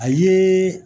A ye